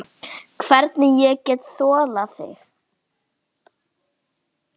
Hvernig ég get þolað þig?